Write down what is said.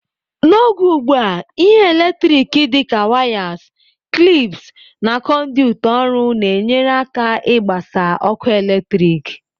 N'oge ugbu a, ihe eletriki dị ka wires, clips, na conduit ọrụ na-enyere aka ịgbasa ọkụ eletrik.